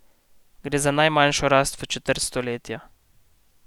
Gre za najmanjšo rast v četrt stoletja.